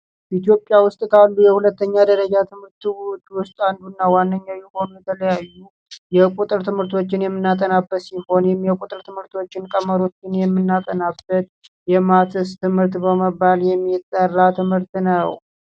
ኢትዮጵያ ውስጥ የሁለተኛ ደረጃ ትምህርት አንዱ እና ዋነኛ የሆነው የተለያዩ የቁጥር ትምህርቶችን የምናጠናበት ትምህርቶችን ቀመሩ የምናጠናበት ትምህርት በመባል የሚጠራ ትምህርት ነው